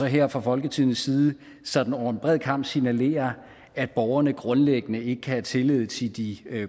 her fra folketingets side sådan over en bred kam signalere at borgerne grundlæggende ikke kan have tillid til de